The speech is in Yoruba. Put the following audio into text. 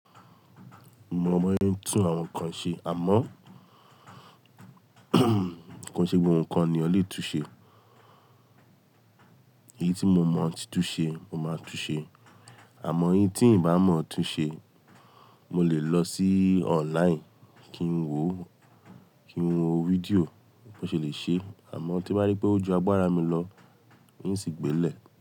Mo mọ̀ ọ́n tú àwọn nǹkan ṣe, àmọ́ ko ṣe gbogbo nǹkan ni ọlẹ́ tú ṣẹ. Èyí tí mo mọ̀ ọ́n ti tú ṣẹ, mo máa tú ṣẹ, àmọ́ ihn tí ǹ bá mọ̀ ọ́n tú ṣẹ, mo lè lọ sí online kí n wo, kí n wo fídíò bí wọ́n ṣe lè ṣe é, àmọ́ tí bá rí pé ó ju agbára mi lọ, n ó sì gbé lẹ̀.